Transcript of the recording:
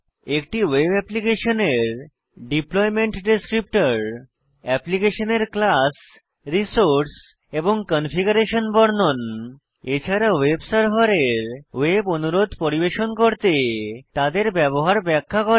একটি ওয়েব অ্যাপ্লিকেশনের deployment descriptor অ্যাপ্লিকেশনের ক্লাস রিসোর্স এবং কনফিগারেশন বর্ণন এছাড়া ওয়েব সার্ভারের ওয়েব অনুরোধ পরিবেশন করতে তাদের ব্যবহার ব্যাখ্যা করে